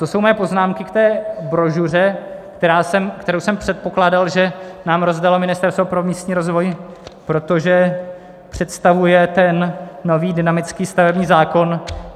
To jsou moje poznámky k té brožuře, kterou jsem předpokládal, že nám rozdalo Ministerstvo pro místní rozvoj, protože představuje ten nový dynamický stavební zákon.